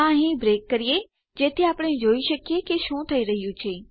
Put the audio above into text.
આ અહીં બ્રેક કરીએ જેથી આપણે જોઈ શકીએ કે શું થઇ રહ્યું છે